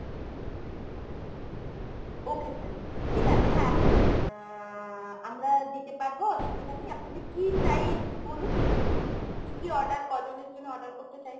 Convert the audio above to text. okay sir। ঠিক আছে হ্যাঁ sir। আহ আ আমরা দিতে পারবো অসুবিধা নেই। আপনাদের কী চাই একটু বলুন ? মানে কী কী order ক'জনের জন্য order করতে চাইছেন ?